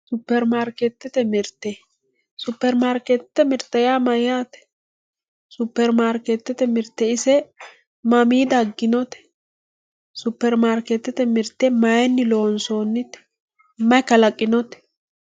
supperimarkeettete mirte supperimaarkeettete mirte yaa mayyaate? supperimarkeettete mirte ise mamii dagginote supperimarkeettete mirte mayeenni loonsoonnite? maye kalaqinote